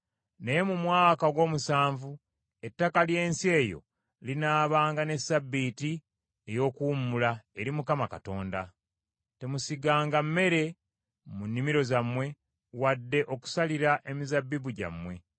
Naye mu mwaka ogw’omusanvu ettaka ly’ensi eyo linaabanga ne ssabbiiti ey’okuwummula eri Mukama Katonda. Temusiganga mmere mu nnimiro zammwe wadde okusalira emizabbibu gyammwe.